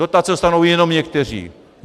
Dotace dostanou jenom někteří.